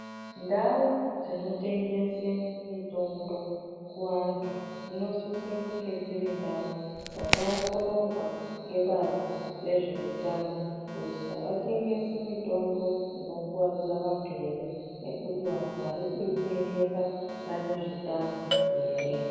Ndau dzinotengese mitombo kuvantu dzinosise kunge dziri ndau dzakaongororwa ngebazi rezveutano kuti havatengesi mitombo inokuwadza vantu here nekuti vantu vari kuitengesa vane zvitambi here.